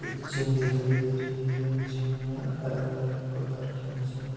एक जिम दे रही है। जिम में अलग अलग प्रकार की मशीने --